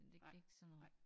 Det ik sådan noget